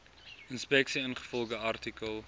inspeksie ingevolge artikel